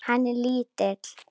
Hann er lítill.